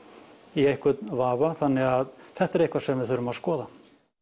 í einhvern vafa þannig að þetta er eitthvað sem við þurfum að skoða